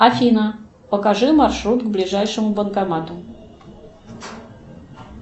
афина покажи маршрут к ближайшему банкомату